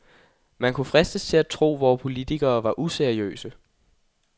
Man kunne fristes til at tro, vore politikere var useriøse.